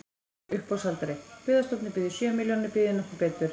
Uppboðshaldari: Byggðastofnun býður sjö milljónir, býður nokkur betur?